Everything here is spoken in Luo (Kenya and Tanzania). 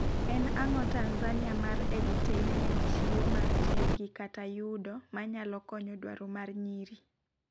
En ang'o Tanzania mar Edutainment chiwo mar tiyogi kata yudo, manyalo konyo dwaro mar nyiri